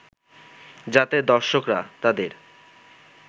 যাতে দর্শকরা তাদের